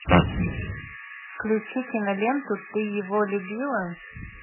включи киноленту ты его любила